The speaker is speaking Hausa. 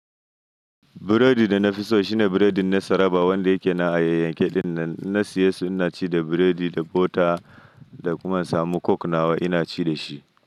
Biredi da nafi so shine biredin na Saraba wanda yake na a yayanke dinnan. Na siyesu, ina ci da biredi, da bota da kuma in samu coke nawa ina ci dashi.